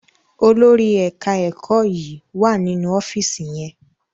Olórí ẹka ẹkọ yí wá nínú ọfiisi yén.